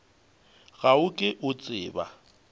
ga o ke o tseba